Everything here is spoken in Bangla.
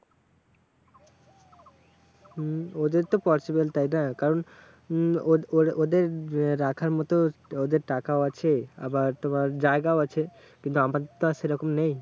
হম ওদের তো possible তাইনা? কারণ উম ও ও ওদের রাখার মতো ওদের টাকাও আছে আবার তোমার জায়গাও আছে আমাদের তো আর সেরকম নেই।